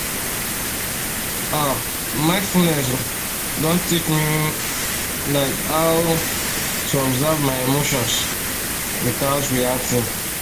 ah mindfulness um don teach um me like how um to observe my emotions without reacting